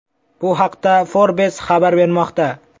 Bu haqda Forbes xabar bermoqda .